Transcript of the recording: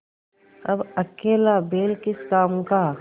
अब अकेला बैल किस काम का